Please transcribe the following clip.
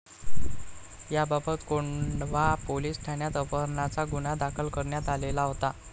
याबाबत कोंढवा पोलीस ठाण्यात अपहरणाचा गुन्हा दाखल करण्यात आलेला होता